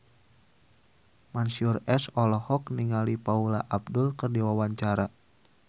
Mansyur S olohok ningali Paula Abdul keur diwawancara